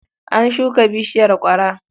An shuka bishiyar ƙwara.